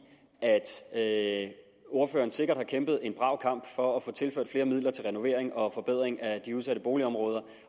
at ordføreren sikkert har kæmpet en brav kamp for at få tilført flere midler til renovering og forbedring af de udsatte boligområder